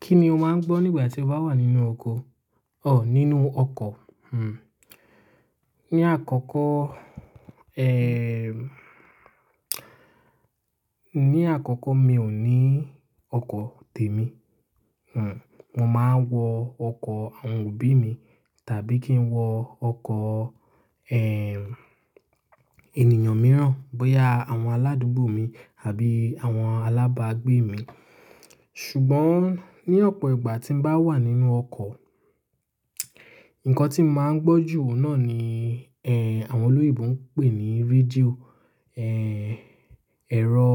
Kí ni o máa ń gbọ́ nígbà tí o bá wà nínú ọkọ̀? Ọ̀, nínú ọkọ̀. Hmm. Ni àkọ́kọ́, ẹẹ́, ní àkọ́kọ́ mi ò ní ọkọ̀ tèmi. Hmm. Mo máa ń wọ ọkọ̀ àwọn òbí mi tàbí kí n wọ ọkọ̀, ẹẹ́, ènìyàn mìíràn, bóyá àwọn aládùúgbò mi àbí àwọn alábàágbé mi. Ṣùgbọ́n ní ọ̀pọ̀ ìgbà tí mo bá wà nínú ọkọ̀, nǹkan tí mo máa ń gbọ́ jù náà ni, ẹẹ́, àwọn olóyinbo ń pè ní rédíò, ẹẹ́, ẹ̀rọ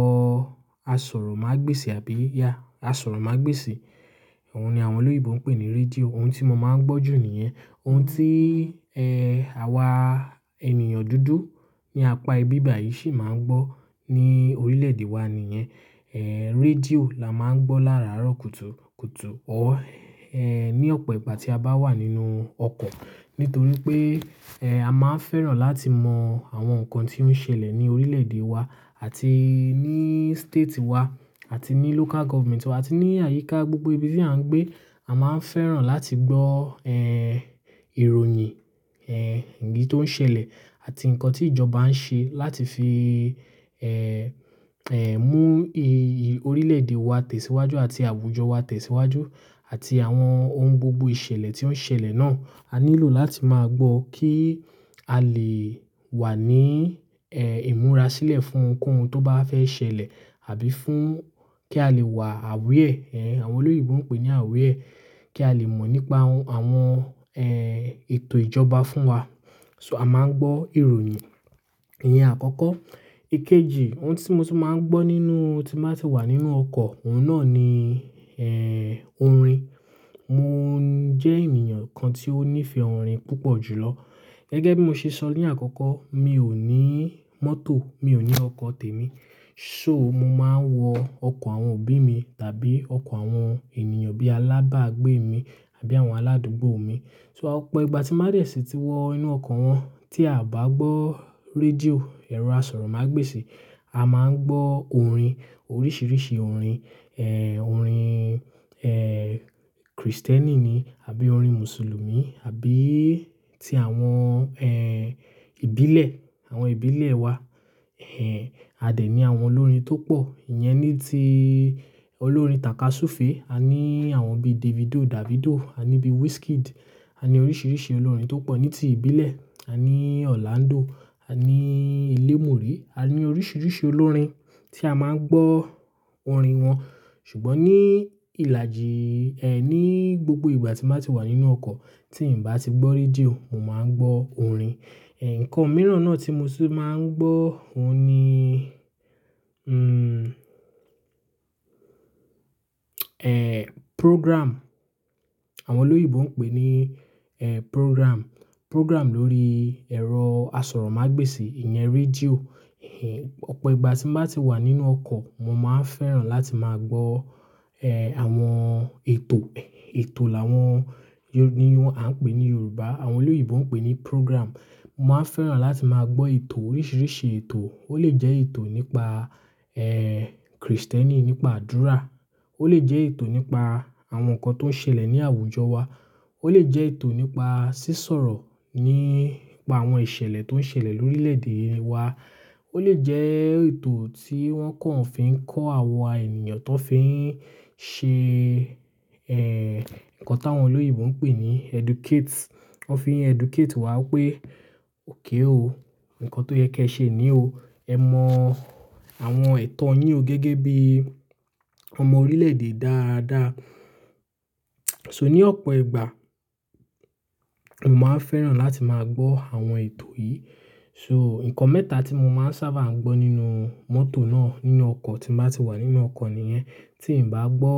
asọ̀rọ̀mágbèsì àbí yeah, asọ̀rọ̀mágbèsì. Òun ni àwọn olóyinbo ń pè ní rédíò. Òun tí mo máa ń gbọ́ jù níyẹn. Òun tí, ẹẹ́, àwa ènìyàn dúdú ní apá ibii bàyìí sì máa ń gbọ́ ní orílẹ̀èdè wa nìyẹn. Ẹẹ́, rédíò la máa ń gbọ́ láràárọ̀ kùtùkùtù or ẹẹ́, ní ọ̀pọ̀ ìgbà tí a bá wà nínú ọkọ̀. Nítorí pé, ẹẹ́, a máa ń fẹ́ràn láti mọ àwọn nǹkan tí ó ń ṣẹlẹ̀ ní orílẹ̀èdè wa àti ní state wa àti ní local government wa àti ní àyíká gbogbo ibi tí à ń gbé. A máa ń fẹ́ràn láti gbọ́, ẹẹ́, ìròyìn, ẹẹ́, eyii tó ń ṣẹlẹ̀ àti nǹkan tí ìjọba ń ṣe láti fi, ẹẹ́, ẹẹ́, mú i-i orílẹ̀èdè wa tẹ̀síwájú àti àwùjọ wa tẹ̀síwájú àti àwọn ohun gbogbo ìṣẹ̀lẹ̀ tí ó ń ṣẹlẹ̀ náà. A nílò láti máa gbọ́ kí a lè wà ní, ẹẹ́, ìmúra sílẹ̀ fún ohunkóhun tó bá fẹ́ ṣẹlẹ̀ àbí fún kí a lè wà aware. Ẹẹ́, àwọn olóyinbo ń pè ní aware. Kí a lè mọ̀ nípa àwọn, ẹẹ́, ètò ìjọba fún wa. So a máa ń gbọ́ ìròyìn iyẹn àkọ́kọ́. Ikejì, ohun tí mo ti máa ń gbọ́ nínú tí mo bá ti wà nínú ọkọ̀, òun náà ni, ẹẹ́, orin. Mo jẹ́ ènìyàn kan tí ó nífẹ̀ẹ́ orin púpọ̀ jùlọ. Gẹ́gẹ́ bí mo ṣe sọ ní àkọ́kọ́, mi ò ní mọ́tò, mi ò ní ọkọ̀ tèmi. So mo máa ń wọ ọkọ̀ àwọn òbí mi tàbí ọkọ̀ àwọn ènìyàn bí alábàágbé mi àbí àwọn aládùúgbò mi. So ọ̀pọ̀ ìgbà tí màá dẹ̀ sí ti wọ inú ọkọ̀ wọn tí a bá gbọ́ rédíò, ẹ̀rọ asọ̀rọ̀mágbèsì, a máa ń gbọ́ orin, oríṣìíríṣìí orin. Ẹẹ́, orin, ẹẹ́, Krìstẹ́nì ni àbí orin Mùsùlùmí àbí ti àwọn, ẹẹ́, ìbílẹ̀, àwọn ìbílẹ̀ wa. Ẹẹ́, a dẹ̀ ní àwọn olórin tó pọ̀. Iyẹn ni tí olórin tàkà súfe. A ní àwọn bí Davido, Davido, a ní bí Wizkid. A ní oríṣìíríṣìí olórin tó pọ̀ ní ti ìbílẹ̀. A ní Orlando, a ní ilémùrí. A ní oríṣìíríṣìí olórin tí a máa ń gbọ́ orin wọn. Ṣùgbọ́ ní ìlàjì, ẹ́, ní gbogbo ìgbà tí n ba ti wà nínú ọkọ̀ tí n bá ti gbọ́ rédíò, mo máa ń gbọ́ orin. Ẹ nǹkan mìíràn náà tí mo tun máa ń gbọ́ òun ni eẹ́, program. Àwọn olóyèbo ń pè ní, ẹẹ́, program. Program lórí ẹ̀rọ asọ̀rọ̀mágbèsì, ìyẹn rédíò. Ọ̀pọ̀ ìgbà tí m'bá ti wà nínú ọkọ̀, mo máa ń fẹ́ràn láti máa gbọ́, ẹẹ́, àwọn ètò. Ètò làwọn ni wọn, à ń pè ní Yorùbá. Àwọn olóyèbo ń pè ní program. Mo máa ń fẹ́ràn láti máa gbọ́ ètò oríṣìíríṣìí ètò. Ó lè jẹ́ ètò nípa, ẹẹ́, Krìstẹ́nì nípa àdúrà. Ó lè jẹ́ ètò nípa àwọn nǹkan tó ń ṣẹlẹ̀ ní àwùjọ wa. Ó lè jẹ́ ètò nípa sísọ̀rọ̀ nípa àwọn ìṣẹ̀lẹ̀ tó ń ṣẹlẹ̀ lórílẹ̀èdè wa. Ó lè jẹ́ ètò tí wọ́n kàn fi ń kọ́ àwa ènìyàn ti won fi ń ṣe, ẹẹ́, nǹkan tí àwọn olóyinbo ń pè ní educate. Wọ́n fi ń educate wá wipé òkay ooo, nǹkan tó yẹ kí ẹ ṣe nì o. Ẹ mọ àwọn ẹ̀tọ́ yín o gẹ́gẹ́ bí ọmọ orílẹ̀èdè dáadáa. So ní ọ̀pọ̀ ìgbà, mo máa ń fẹ́ràn láti máa gbọ́ àwọn ètò yìí. So nǹkan mẹ́ta tí mo máa ń sábà ń gbọ́ nínú mọ́tò náà, nínú ọkọ̀ tí mo bá ti wà nínú ọkọ̀ nìyẹn. Tí n bá gbọ́,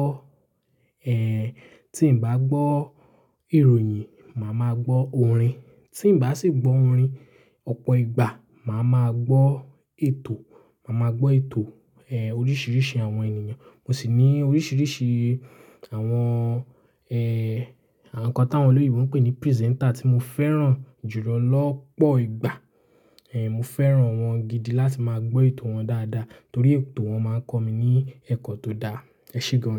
ẹẹ́, tí n bá gbọ́ ìròyìn, màá máa gbọ́ orin. Tí n bá sì gbọ́ orin ọ̀pọ̀ ìgbà, màá máa gbọ́ ètò. Màá máa gbọ́ ètò, ẹẹ́, oríṣìíríṣìí àwọn ènìyàn. Mo sì ní oríṣìíríṣìí àwọn, ẹẹ́, nǹkan tí àwọn olóyinbo ń pè ní presenter tí mo fẹ́ràn jùlọ lọ́pọ̀ ìgbà. Ẹ̀, mo fẹ́ràn wọ́n gidi láti máa gbọ́ ètò wọn dáadáa torí ètò wọn máa ń kọ́ mi ní ẹ̀kọ́ tó dá. Ẹ ṣe gan.